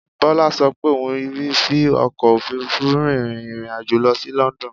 Bọ́lá ṣo pé òun rí fi ọkò òfurufú rin ìrìn àjò lọ sí London